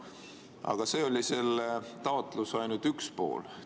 Aga see oli ainult selle taotluse üks pool.